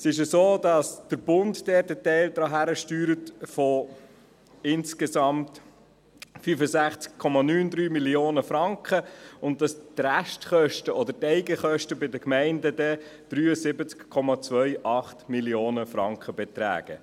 Es ist so, dass der Bund dort einen Teil von insgesamt 65,93 Mio. Franken beisteuert und dass die Restkosten oder die Eigenkosten bei den Gemeinden dann 73,28 Mio. Franken betragen.